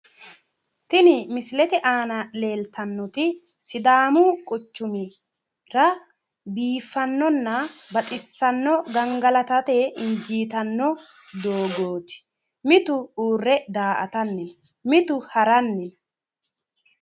tini misilete aana leeltannoti sidaamu sidaamu quchumira biiffannona baxissanno gangalatate injiitanno doogooti mitu mitu uurre daa'atanni no mitu haranni no.